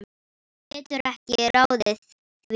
Hún getur ekki ráðið því.